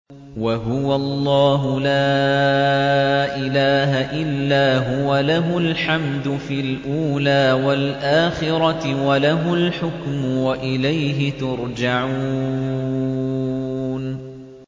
وَهُوَ اللَّهُ لَا إِلَٰهَ إِلَّا هُوَ ۖ لَهُ الْحَمْدُ فِي الْأُولَىٰ وَالْآخِرَةِ ۖ وَلَهُ الْحُكْمُ وَإِلَيْهِ تُرْجَعُونَ